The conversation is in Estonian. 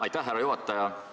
Aitäh, härra juhataja!